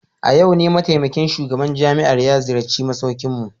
A yau ne mataimakin shugaban jami'ar ya ziyarci masaukinmu.